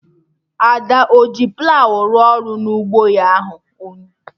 Ada ehi plawụ rụọ ọrụ na ụgbọ ya ahụ?